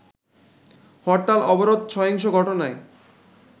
হরতাল-অবরোধ, সহিংস ঘটনায়